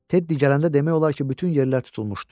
Tedi gələndə demək olar ki, bütün yerlər tutulmuşdu.